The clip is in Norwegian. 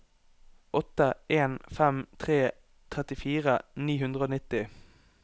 åtte en fem tre trettifire ni hundre og nitti